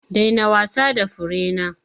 Daina wasa da furena!